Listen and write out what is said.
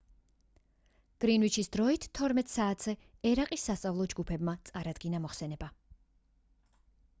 გრინვიჩის დროით 12:00 საათზე ერაყის სასწავლო ჯგუფმა წარადგინა მოხსენება